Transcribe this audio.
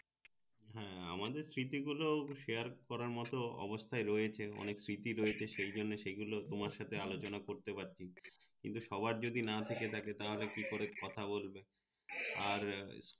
হ্যাঁ আমাদের স্মৃতি গুলো share করার মত অবস্থায় রয়েছে অনেক স্মৃতি রয়েছে সে জন্য সে গুলো তোমার সাথে আলোচানা করতে পাচ্ছি কিন্তু সবার যদি না থেকে থাকে তা হলে কি করে কথা বলবে আর